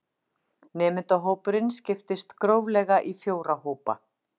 Nemendahópurinn skiptist gróflega í fjóra hópa